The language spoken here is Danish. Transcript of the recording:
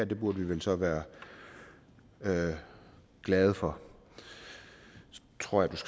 det burde vi så være glade glade for så tror jeg at